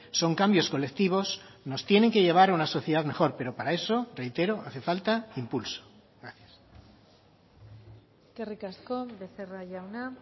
son cambios colectivos nos tienen que llevar a una sociedad mejor pero para eso reitero hace falta impulso gracias eskerrik asko becerra jauna